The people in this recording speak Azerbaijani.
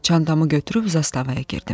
Çantamı götürüb zastavaya girdim.